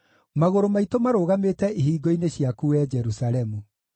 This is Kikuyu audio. Magũrũ maitũ marũgamĩte ihingo-inĩ ciaku, wee Jerusalemu.